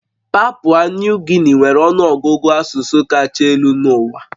Papua Nuu Gini nwere ọnụ ọgụgụ asụsụ kacha elu n'ụwa